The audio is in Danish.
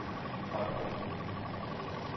Otterup